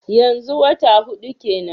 Yanzu wata hudu kenan?